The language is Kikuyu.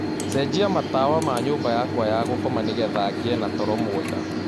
cenjĩa matawa ma nyũmba yakwa ya gũkoma nĩgetha ngĩe na toro mwega